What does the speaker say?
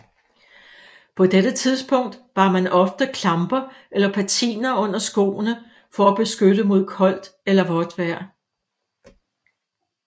På dette tidspunkt bar man ofte klamper eller patiner under skoene for at beskytte mod koldt eller vådt vejr